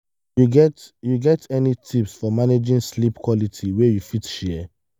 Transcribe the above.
you get you get any tips for managing sleep quality wey you fit share?